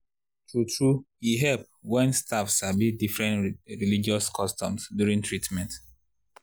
true-true e help wen staff sabi different religious customs during treatment.